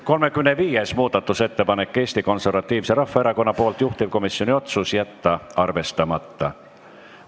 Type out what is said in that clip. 35. muudatusettepanek on Eesti Konservatiivselt Rahvaerakonnalt, juhtivkomisjoni otsus: jätta arvestamata.